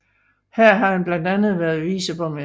Her har han blandt andet været viceborgmester